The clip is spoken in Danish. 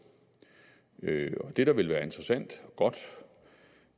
det der ville være interessant og godt